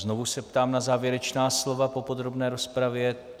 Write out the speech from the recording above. Znovu se ptám na závěrečná slova po podrobné rozpravě.